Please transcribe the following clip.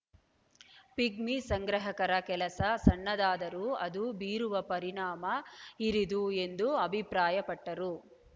pigmy ಸಂಗ್ರಾಹಕರ ಕೆಲಸ ಸಣ್ಣದಾದರೂ ಅದು ಬೀರುವ ಪರಿಣಾಮ ಹಿರಿದು ಎಂದು ಅಭಿಪ್ರಾಯಪಟ್ಟರು